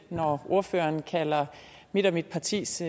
når ordføreren kalder mit mit partis